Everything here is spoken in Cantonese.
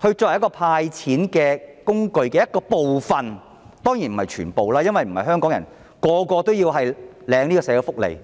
來作為"派錢"工具的一部分，當然不是全部，因為並非所有香港人也領取社會福利。